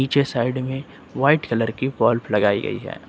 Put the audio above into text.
पीछे साइड में white colour के बल्ब लगाई गई है।